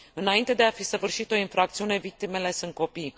Înainte de a fi săvârșit o infracțiune victimele sunt copii.